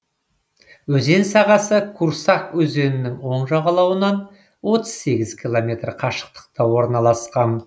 өзен сағасы курсак өзенінің оң жағалауынан отыз сегіз километр қашықтықта орналасқан